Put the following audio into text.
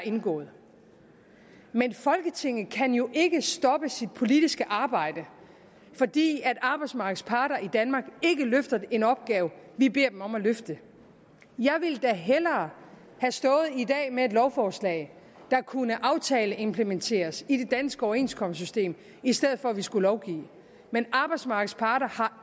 indgået men folketinget kan jo ikke stoppe sit politiske arbejde fordi arbejdsmarkedets parter i danmark ikke løfter en opgave vi beder dem om at løfte jeg ville da hellere have stået i dag med et lovforslag der kunne aftaleimplementeres i det danske overenskomstsystem i stedet for at vi skal lovgive men arbejdsmarkedets parter har